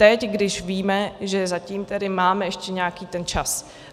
Teď, když víme, že zatím tedy máme ještě nějaký ten čas.